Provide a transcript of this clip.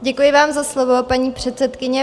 Děkuji vám za slovo, paní předsedkyně.